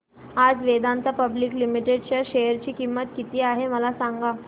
आज Vedanta public limited च्या share ची किंमत किती आहे मला सांगा